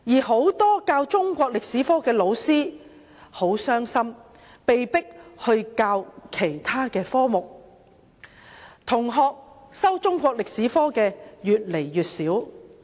很多中史科的老師很傷心，被迫轉教其他科目；修讀中史科的同學越來越少。